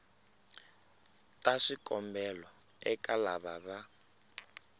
ta swikombelo eka lava va